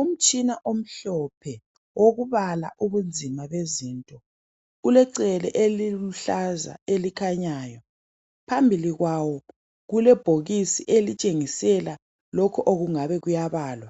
Umtshina omhlophe okubala ubunzima bezinto ulecele eliluhlaza elikhanyayo phambili kwawo kulebhokisi elitshengisela lokhu okungabe kuyabalwa